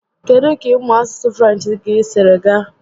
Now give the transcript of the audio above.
Kedụ ka ịmụ asụsụ French gị siri gaa?